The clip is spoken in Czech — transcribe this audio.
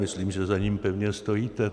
Myslím, že za ním pevně stojíte.